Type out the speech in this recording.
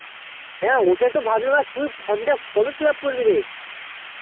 হ্যাঁ ওটা তো ভাবলাম হ্যাঁ তুই আর from টা কবে fill up করবিরে